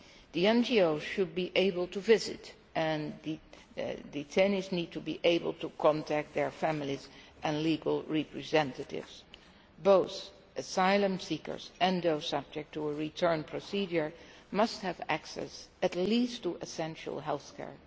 The NGOs should be able to visit, and the detainees need to be able to contact their families and legal representatives. Both asylum seekers and those subject to a return procedure must have access at least to essential healthcare.